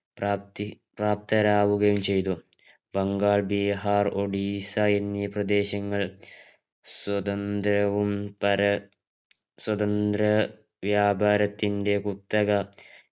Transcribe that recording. പ്രാപ്തി പ്രാപ്തരാവുകയും ചെയ്തു ബംഗാൾ ബീഹാർ ഒഡിഷ എന്നീ പ്രദേശങ്ങൾ സ്വതന്ത്രവും പര സ്വതന്ത്ര വ്യാപാരത്തിന്റെ കുത്തക